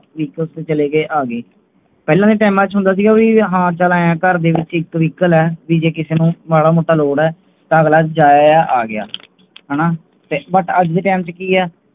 Vehicle ਤੇ ਚਲੇ ਗਏ ਤੇ ਆਗਏ ਪਹਿਲਾਂ ਦੇ Time ਤੇ ਹੁੰਦਾ ਸੀ ਕਿ ਚੱਲ ਭਾਈ ਕਰ Vehicle ਜੇ ਕਿਸੇ ਨੂੰ ਮਾੜਾ ਮੋਟਾ ਲੋਡ ਹੈ ਤੇ ਅਗਲਾ ਜਾਏਗਾ ਆਏਗਾ ਹਾਣਾ ਪਰ ਅੱਜ ਦੇ Time ਕੀ ਹੈ